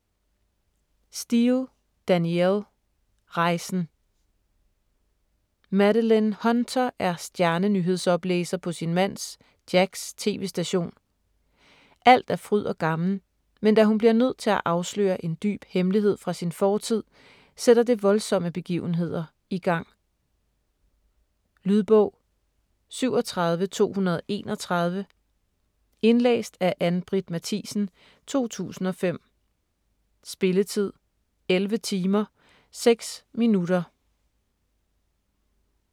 Steel, Danielle: Rejsen Madeleine Hunter er stjerne-nyhedsoplæser på sin mands, Jacks, tv-station. Alt er fryd og gammen, men da hun bliver nødt til at afsløre en dyb hemmelighed fra sin fortid, sætter det voldsomme begivenheder i gang. Lydbog 37231 Indlæst af Ann-Britt Mathisen, 2005. Spilletid: 11 timer, 6 minutter.